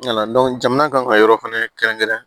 jamana kan ka yɔrɔ fɛnɛ kɛrɛnkɛrɛn